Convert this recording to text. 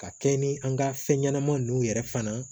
Ka kɛɲɛ ni an ka fɛn ɲɛnama ninnu yɛrɛ fana